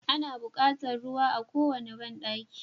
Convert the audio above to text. Ana buƙatar ruwa a kowane banɗaki.